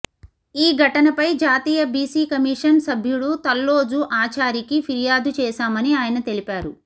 ఈ ఘటనపై జాతీయ బీసీ కమిషన్ సభ్యుడు తల్లోజు ఆచారికి ఫిర్యాదు చేశామని ఆయన తెలిపారు